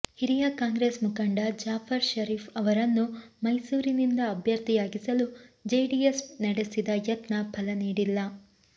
ಹಿರಿಯ ಕಾಂಗ್ರೆಸ್ ಮುಖಂಡ ಜಾಫರ್ ಷರೀಫ್ ಅವರನ್ನು ಮೈಸೂರಿನಿಂದ ಅಭ್ಯರ್ಥಿಯಾಗಿಸಲು ಜೆಡಿಎಸ್ ನಡೆಸಿದ ಯತ್ನ ಫಲ ನೀಡಿಲ್ಲ